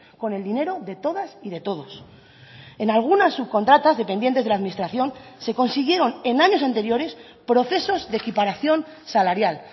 con el dinero de todas y de todos en algunas subcontratas dependientes de la administración se consiguieron en años anteriores procesos de equiparación salarial